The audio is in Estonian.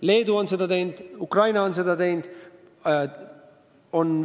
Leedu on seda teinud ja Ukraina on seda teinud.